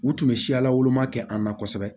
U tun bɛ siya lawoloma kɛ an na kosɛbɛ